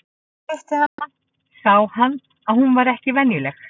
En þegar hann hitti hana sá hann að hún var ekki venjuleg.